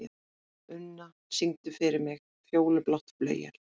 Unna, syngdu fyrir mig „Fjólublátt flauel“.